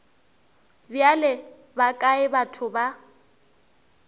bjale ba kae batho ba